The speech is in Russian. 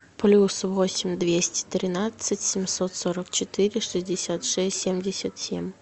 плюс восемь двести тринадцать семьсот сорок четыре шестьдесят шесть семьдесят семь